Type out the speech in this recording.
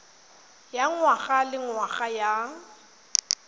ya ngwaga le ngwaga ya